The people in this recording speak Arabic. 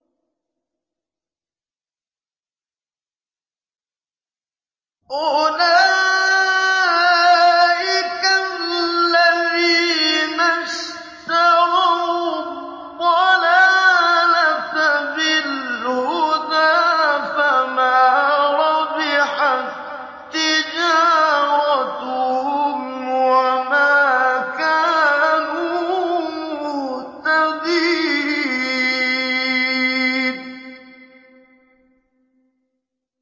أُولَٰئِكَ الَّذِينَ اشْتَرَوُا الضَّلَالَةَ بِالْهُدَىٰ فَمَا رَبِحَت تِّجَارَتُهُمْ وَمَا كَانُوا مُهْتَدِينَ